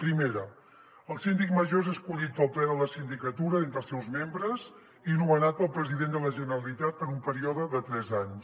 primera el síndic major és escollit pel ple de la sindicatura d’entre els seus membres i nomenat pel president de la generalitat per un període de tres anys